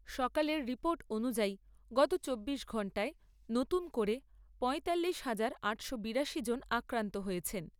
সকালের রিপোর্ট অনুযায়ী, গত চব্বিশ ঘণ্টায় নতুন করে পয়তাল্লিশ হাজার আটশো বিরাশি জন আক্রান্ত হয়েছেন।